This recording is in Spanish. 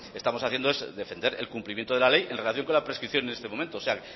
estamos haciendo es defender el cumplimiento de la ley en relación con la prescripción en este momento o sea